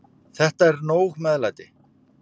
Þetta er nóg meðlæti.